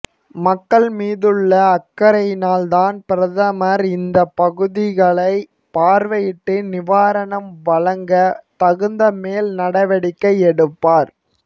மக்கள் மீதுள்ள அக்கறையினால்தான் பிரதமர் இந்தப் பகுதிகளைப் பார்வையிட்டு நிவாரணம் வழங்க தகுந்த மேல் நடவடிக்கை எடுப்பார்